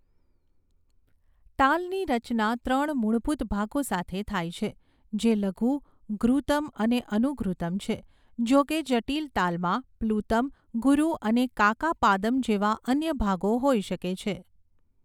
તાલની રચના ત્રણ મૂળભૂત ભાગો સાથે થાય છે, જે લધુ, ધૃત્તમ અને અનુધૃત્તમ છે, જોકે જટિલ તાલમાં પ્લુતમ, ગુરુ અને કાકાપાદમ જેવા અન્ય ભાગો હોઈ શકે છે.